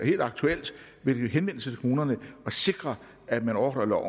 helt aktuelt vil henvende sig til kommunerne og sikre at man overholder